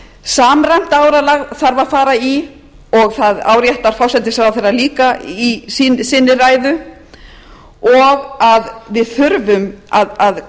samræmt áralag þarf að fara í og það áréttar forsætisráðherra líka í sinni ræðu og að við þurfum að